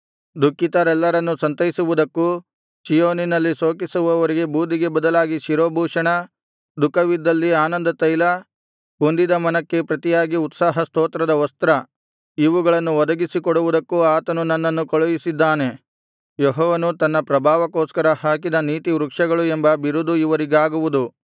ದುಃಖಿತರೆಲ್ಲರನ್ನು ಸಂತೈಸುವುದಕ್ಕೂ ಚೀಯೋನಿನಲ್ಲಿ ಶೋಕಿಸುವವರಿಗೆ ಬೂದಿಗೆ ಬದಲಾಗಿ ಶಿರೋಭೂಷಣ ದುಃಖವಿದ್ದಲ್ಲಿ ಆನಂದತೈಲ ಕುಂದಿದ ಮನಕ್ಕೆ ಪ್ರತಿಯಾಗಿ ಉತ್ಸಾಹ ಸ್ತೋತ್ರದ ವಸ್ತ್ರ ಇವುಗಳನ್ನು ಒದಗಿಸಿಕೊಡುವುದಕ್ಕೂ ಆತನು ನನ್ನನ್ನು ಕಳುಹಿಸಿದ್ದಾನೆ ಯೆಹೋವನು ತನ್ನ ಪ್ರಭಾವಕ್ಕೋಸ್ಕರ ಹಾಕಿದ ನೀತಿವೃಕ್ಷಗಳು ಎಂಬ ಬಿರುದು ಇವರಿಗಾಗುವುದು